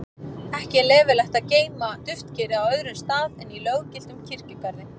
ekki er leyfilegt að geyma duftkerið á öðrum stað en í löggiltum kirkjugarði